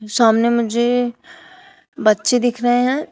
सामने मुझे बच्चे दिख रहे हैं।